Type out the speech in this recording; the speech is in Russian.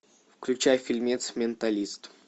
включай фильмец менталист